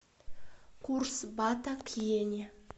курс бата к йене